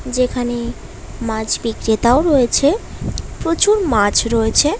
যেখানে মাছ বিক্রেতাও রয়েছে প্রচুর মাছ রয়েছে ।